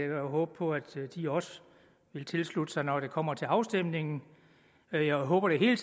jo håbe på at de også vil tilslutte sig forslaget når det kommer til afstemning jeg håber i det hele